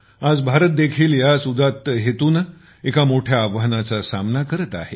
आज भारत देखील याच उद्दात हेतूने एका मोठ्या आव्हानाचा सामना करत आहे